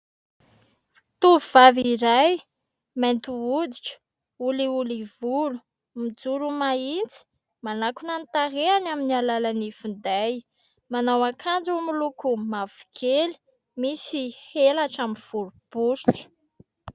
Tovovavy iray mainty hoditra, olioly volo mijoro mahitsy manakona ny tarehany amin'ny alalan'ny finday, manao akanjo miloko mavokely misy elatra miforiporitra.